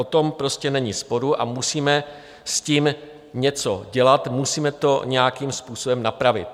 O tom prostě není sporu a musíme s tím něco dělat, musíme to nějakým způsobem napravit.